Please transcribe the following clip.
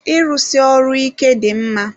Ịrụsi ọrụ ike dị mma.